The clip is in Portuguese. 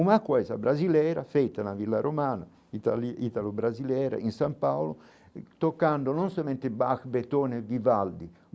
Uma coisa brasileira feita na Vila Romana, itali italo-brasileira, em São Paulo, tocando não somente Bach, Beethoven e Vivaldi.